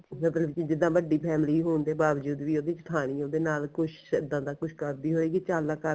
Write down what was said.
ਮਤਲਬ ਕਿ ਜਿੱਦਾਂ ਵੱਡੀ family ਹੋਣ ਦੇ ਬਾਵਜੂਦ ਵੀ ਉਹਦੀ ਜੇਠਾਣੀ ਉਹਦੇ ਨਾਲ ਕੁੱਛ ਇਦਾਂ ਦਾ ਕੁੱਝ ਕਰਦੀ ਹੋਏਗੀ ਧਿਆਨ ਨਾਲ ਕਰਦੀ